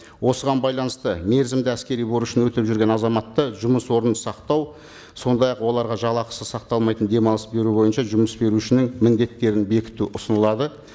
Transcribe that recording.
осыған байланысты мерзімді әскери борышын өтеп жүрген азаматта жұмыс орнын сақтау сондай ақ оларға жалақысы сақталмайтын демалыс беру бойынша жұмыс берушінің міндеттерін бекіту ұсынылады